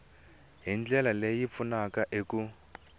hi ndlela leyi pfunaka eku